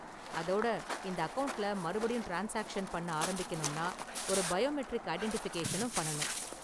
அதோட இந்த அக்கவுண்ட்ல மறுபடியும் ட்ரான்ஸ்சாக்ஷன் பண்ண ஆரம்பிக்கணும்னா ஒரு பயோமெட்ரிக் ஐடென்டிஃபிகேஷனும் பண்ணனும்.